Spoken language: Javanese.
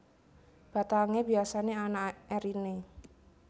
Batangé biasané ana eriné